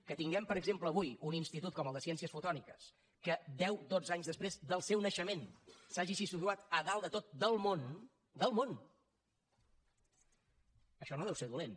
que tinguem per exemple avui un institut com el de ciències fotòniques que deu dotze anys després del seu naixement s’hagi situat a dalt de tot del món del món això no deu ser dolent